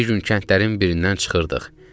Bir gün kəndlərin birindən çıxırdıq.